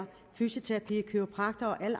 fysioterapeut kiropraktor og alle